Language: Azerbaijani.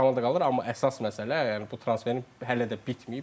Komandada qalır, amma əsas məsələ yəni bu transferin hələ də bitməyib.